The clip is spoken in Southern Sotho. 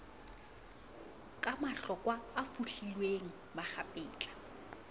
ka mahlokwa a fohlilweng makgapetla